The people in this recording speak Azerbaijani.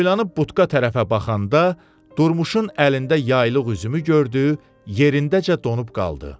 Boylanıb butka tərəfə baxanda durmuşun əlində yaylıq üzümünü gördü, yerindəcə donub qaldı.